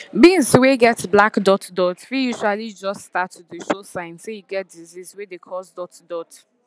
beans wey get black dot dot fit usually jus start to dey show sign say e get disease wey dey cause dot dot